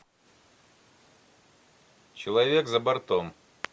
человек за бортом